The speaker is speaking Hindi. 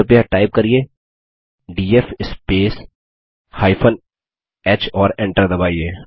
कृपया टाइप करिये डीएफ स्पेस h और Enter दबाइए